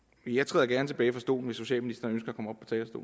jeg træder gerne tilbage fra stolen hvis social